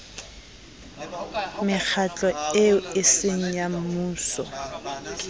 mekgatlo eo eseng ya mmuso